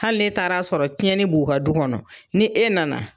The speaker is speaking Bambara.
Hali ne taar'a sɔrɔ cɛnni b'u ka du kɔnɔ ni e nana